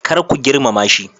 Kar ku girmama shi.